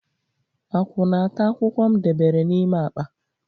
Akwụ na-ata akwụkwọ m debere n'ime akpa.